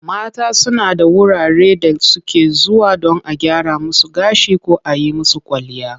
Mata suna da wurare da suke zuwa don a gyra musu gashi ko a yi musu kwalliya.